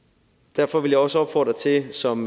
derfor vil jeg også opfordre til som